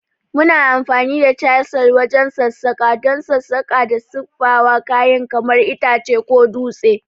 Muna amfani da chisel wajen sassaƙa don sassaƙa da siffata kayan kamar itace ko dutse.